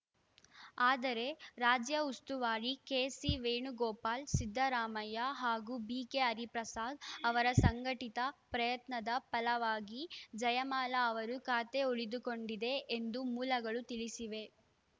ಆದರೆ ರಾಜ್ಯ ಉಸ್ತುವಾರಿ ಕೆಸಿವೇಣುಗೋಪಾಲ್‌ ಸಿದ್ದರಾಮಯ್ಯ ಹಾಗೂ ಬಿಕೆ ಹರಿಪ್ರಸಾದ್‌ ಅವರ ಸಂಘಟಿತ ಪ್ರಯತ್ನದ ಫಲವಾಗಿ ಜಯಮಾಲಾ ಅವರು ಖಾತೆ ಉಳಿದುಕೊಂಡಿದೆ ಎಂದು ಮೂಲಗಳು ತಿಳಿಸಿವೆ